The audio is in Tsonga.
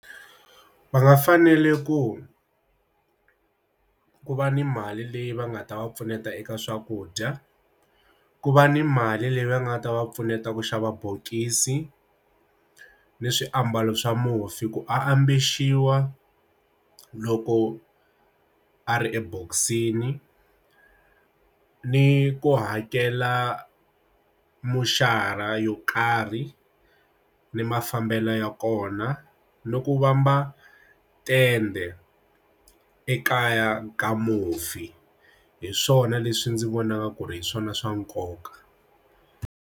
Va nga fanele ku ku va ni mali leyi va nga ta va pfuneta eka swakudya ku va ni mali leyi va nga ta va pfuneta ku xava bokisi ni swiambalo swa mufi ku ambexiwa loko a ri ebokisini ni ku hakela moxara yo karhi ni mafambelo ya kona no ku vamba tende ekaya ka mufi hi swona leswi ndzi vonaka ku ri hi swona swa nkoka.